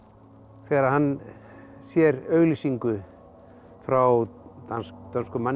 þegar hann sér auglýsingu frá dönskum manni